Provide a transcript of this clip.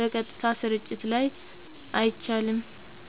(በቀጥታ ስርጭት ላይ) አይቻልም።